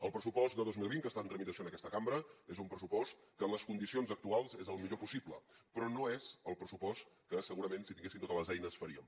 el pressupost de dos mil vint que està en tramitació en aquesta cambra és un pressupost que en les condicions actuals és el millor possible però no és el pressupost que segurament si tinguéssim totes les eines faríem